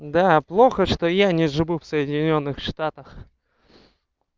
да плохо что я не живу в соединённых штатах